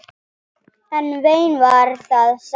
En vein var það samt.